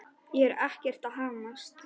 Ég er ekkert að hamast.